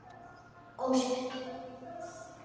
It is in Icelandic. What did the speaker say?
Er eina leiðin fyrir okkur að boða strax til kosninga?